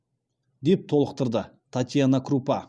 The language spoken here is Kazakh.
деп толықтырды татьяна крупа